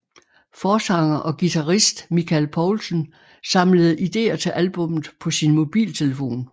Forsanger og guitarist Michael Poulsen samlede ideer til albummet på sin mobiltelefon